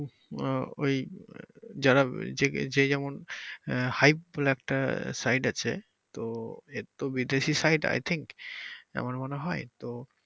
আহ ওই যারা যে যেমন আহ হাইপ বলে একটা site আছে তো এতো বিদেশি site I think আমার মনে হয় তো